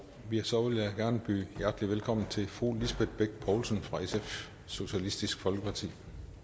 så vil jeg gerne byde hjertelig velkommen til fru lisbeth bech poulsen fra socialistisk folkeparti